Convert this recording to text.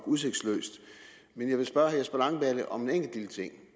udsigtsløst jeg vil spørge herre jesper langballe om en enkelt lille ting